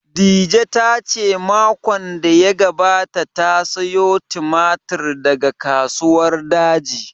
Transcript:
Dije ta ce makon da ya gabata ta sayo tumatir daga Kasuwar Daji